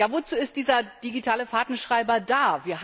Wozu ist dieser digitale Fahrtenschreiber da?